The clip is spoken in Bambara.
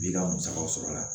I b'i ka musaka sɔrɔ a la